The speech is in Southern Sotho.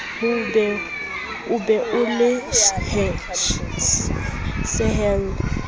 o be o le sehelle